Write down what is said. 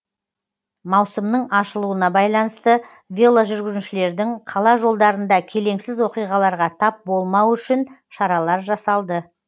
маусымның ашылуына байланысты веложүргіншілердің қала жолдарында келеңсіз оқиғаларға тап болмауы үшін шаралар жасалды